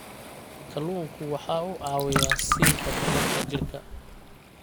Kalluunku waxa uu caawiyaa siinta tamarta jidhka.